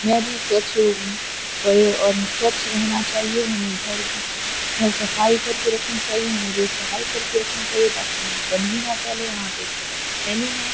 मैं भी सोचू और हमें स्वच्छ रहना चाहिए हमें घर घर सफाई करके रखनी चाहिए। हमें रोड सफाई करके रखनी चाहिए ताकि हम गंदगी ना फैले यहाँ पे एक छोटा सा सैलून है।